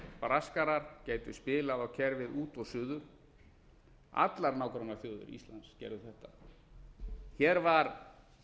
braskarar gætu spilað á kerfið út og suður allar nágrannaþjóðir íslands gerðu þetta hér var